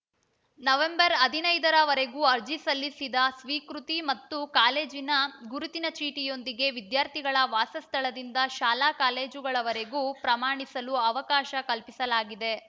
November ಹದಿನೈದರ ವರೆಗೂ ಅರ್ಜಿ ಸಲ್ಲಿಸಿದ ಸ್ವೀಕೃತಿ ಮತ್ತು ಕಾಲೇಜಿನ ಗುರುತಿನ ಚೀಟಿಯೊಂದಿಗೆ ವಿದ್ಯಾರ್ಥಿಗಳ ವಾಸಸ್ಥಳದಿಂದ ಶಾಲಾ ಕಾಲೇಜಿನವರೆಗೂ ಪ್ರಮಾಣಿಸಲು ಅವಕಾಶ ಕಲ್ಪಿಸಲಾಗಿದೆ